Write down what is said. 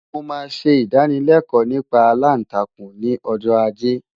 Mo máa ṣe ìdánılẹ́kọ̀ọ́ nípa aláǹtakùn ni ọjọ́ ajé.